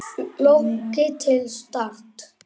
Flóki til Start?